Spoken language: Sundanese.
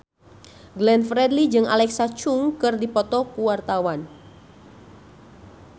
Glenn Fredly jeung Alexa Chung keur dipoto ku wartawan